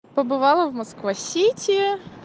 побывала в москва-сити